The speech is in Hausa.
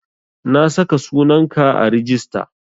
Na saka sunan ka a rijista